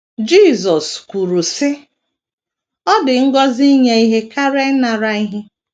Jisọs kwuru, sị: “ Ọ dị ngọzi inye ihe karịa ịnara ihe. ”